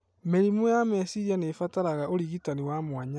Mĩrimũ ya meciria nĩ ĩbataraga ũrigitani wa mwanya.